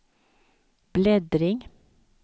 bläddring